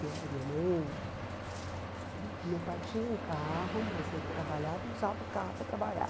E a minha mãe... Meu pai tinha um carro, mas ele trabalhava e usava o carro para trabalhar.